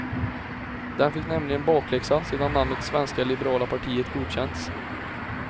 Den fick nämligen bakläxa sedan namnet svenska liberala partiet godkänts.